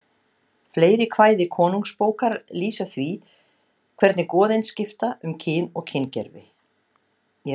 Fleiri kvæði Konungsbókar lýsa því hvernig goðin skipta um kyn og kyngervi.